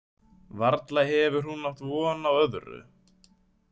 Varla hefur hún átt von á öðru.